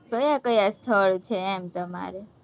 ક્યાં ક્યાં સ્થળ છે, એમ તમારે?